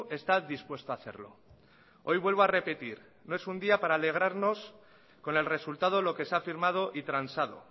está dispuesto a hacerlo hoy vuelvo a repetir no es un día para alegrarnos con el resultado lo que se ha firmado y transado